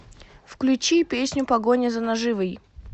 включи песню погоня за наживой